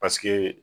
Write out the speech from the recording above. Paseke